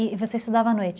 E você estudava à noite?